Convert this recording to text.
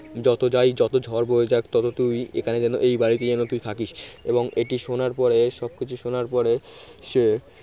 যত যাই যত ঝড় বয়ে যাক তবে তুই এখানে যেন তুই এই বাড়িতে যেন তুই থাকিস এবং এটি শোনার পরে সবকিছু শোনার পরে সে